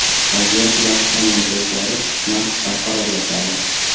Vaziyat yaxshi tomonga o‘zgarib, narx barqarorlashadi.